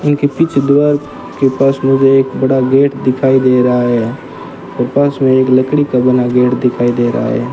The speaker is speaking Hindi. उनके पीछे दीवाल के पास मुझे एक बड़ा गेट दिखाई दे रहा है और पास में एक लकड़ी का बना गेट दिखाई दे रहा है।